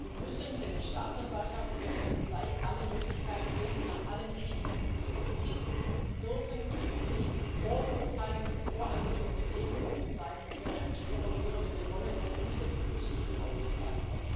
Wir müssen der Staatsanwaltschaft und der Polizei alle Möglichkeiten geben, nach allen Richtungen zu ermitteln, und dürfen nicht Vorverurteilungen und voreingenommene Wege aufzeigen es wäre ein schwerer Fehler wenn wir wollen, dass diese Geschichte aufgeklärt wird.